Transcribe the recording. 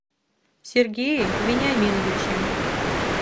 сергее вениаминовиче